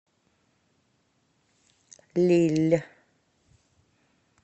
лилль